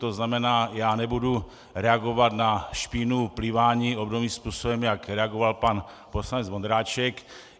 To znamená, já nebudu reagovat na špínu pliváním obdobným způsobem, jak reagoval pan poslanec Vondráček.